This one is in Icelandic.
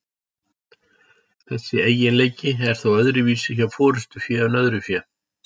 Þessi eiginleiki er þó öðruvísi hjá forystufé en öðru fé.